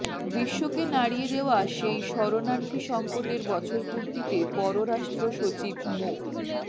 বিশ্বকে নাড়িয়ে দেওয়া সেই শরণার্থী সঙ্কটের বছরপূর্তিতে পররাষ্ট্র সচিব মো